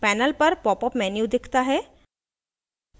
panel पर popup menu दिखता है